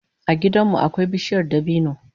A gidan mu akwai bishiyar dabino